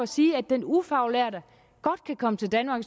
sige at den ufaglærte godt kan komme til danmark